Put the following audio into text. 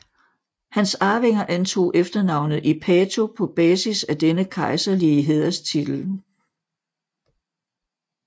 Hans arvinger antog efternavnet Ipato på basis af denne kejserlige hæderstitel